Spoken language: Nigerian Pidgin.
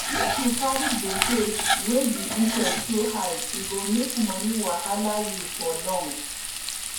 if you carry gbese wey di interest too high e go make money wahala you for long